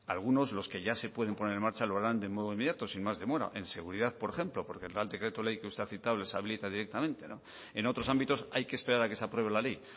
algunos los que ya se pueden poner en marcha lo harán de modo inmediato sin más demora en seguridad por ejemplo porque el real decreto ley que usted ha citado les habilita directamente en otros ámbitos hay que esperar a que se apruebe la ley